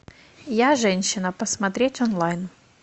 я женщина посмотреть онлайн